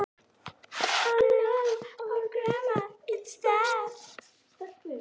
Amma er dáin